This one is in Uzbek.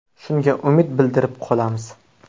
Shunga umid bildirib qolamiz.